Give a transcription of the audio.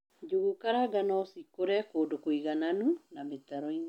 Njũgukaranga nocikūre kūndū kūigananu na mītaroīni